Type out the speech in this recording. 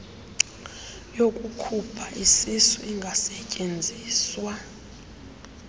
yokukhupha isisu ingasetyenziswa